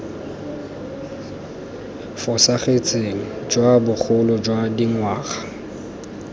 fosagetseng jwa bogolo jwa dingwaga